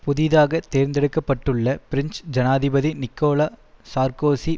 புதிதாக தேர்ந்தெடுக்ப்பட்டுள்ள பிரெஞ்சு ஜனாதிபதி நிக்கோலா சார்க்கோசி